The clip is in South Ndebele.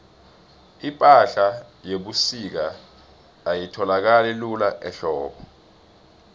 ipahla yebusika ayitholakali lula ehlobo